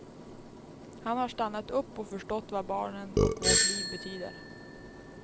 Han har stannat upp och förstått vad barnen och vårt liv betyder.